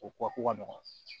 O ko ka nɔgɔn